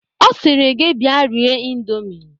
Ọ sịrị gị bịa rie ịndomi